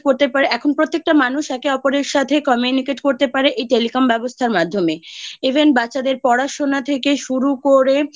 করতে পারে। এখন প্রত্যেকটা মানুষ একে অপরের সাথে Communicate করতে পারে এই Telecom ব্যবস্থার মাধ্যমে Even বাচ্চাদের পড়াশোনা থেকে শুরু করে